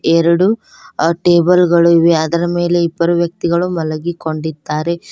ಎರಡು ಆ ಟೇಬಲ್ ಗಳು ಇವೆ ಅದರ ಮೇಲೆ ಇಬ್ಬರು ವ್ಯಕ್ತಿಗಳು ಮಲಗಿಕೊಂಡಿದ್ದಾರೆ.